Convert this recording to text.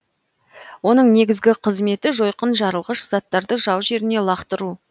оның негізгі қызметі жойқын жарылғыш заттарды жау жеріне лақтыру